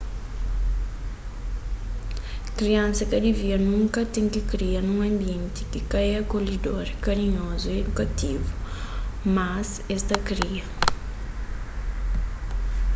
kriansa ka divia nunka ten ki kria nun anbienti ki ka é akolhedor karinhozu y idukativu mas es ta kria